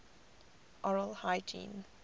oral hygiene